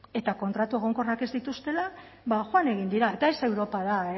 eta kontratu egonkorrak ez dituztela ba joan egin dira eta ez europara